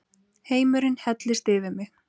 Heimurinn hellist yfir mig.